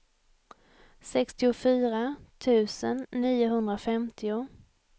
sextiofyra tusen niohundrafemtio